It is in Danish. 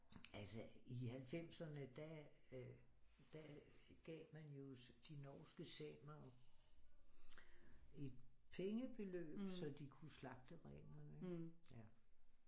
Altså i halvfemserne der øh der gav man jo de norske samere et pengebeløb så de kunne slagte renerne ikke